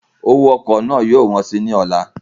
Owó ọkọ̀ náà yóò wọ́n sí i ní ọ̀la